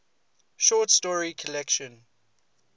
short story collection